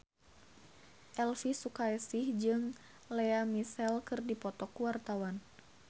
Elvy Sukaesih jeung Lea Michele keur dipoto ku wartawan